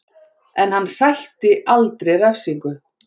En hann sætti aldrei refsingu